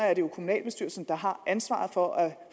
er jo kommunalbestyrelsen der har ansvaret for at